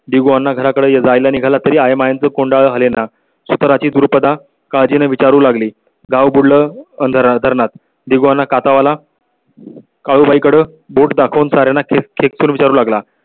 . दिवाना घराकडे जायला निघाला तरी आइमान कुंडा लेना सूत्रांची द्रुपदा काळजी न विचारू लागली. गाव बुडालं धरणात दिवाना काथा वाला काळुबाई कडे बोट दाखवून सारा खेळ खेळू लागला.